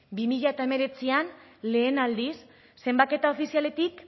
bi mila hemeretzian lehen aldiz zenbaketa ofizialetik